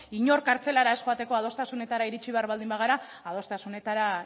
inor kartzelara joateko adostasunetara iritsi behar baldin bagara adostasunetara